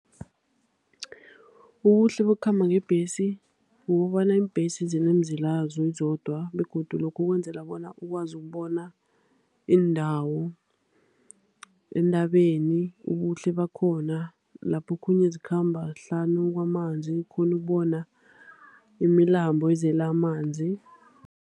Ubuhle bokukhamba ngebhesi kukobana iimbhesi zinemizila yazo zizodwa, begodu lokhu kwenzelwa bona ukwazi ukubona iindawo entabeni, ubuhle bakhona. Lapho okhunye zikhamba hlanu kwamanzi, ukghone ukubona imilambo ezele amanzi.